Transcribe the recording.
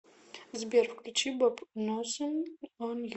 сбер включи боб носин он ю